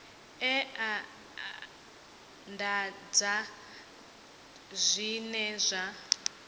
e a anḓadzwa zwine zwa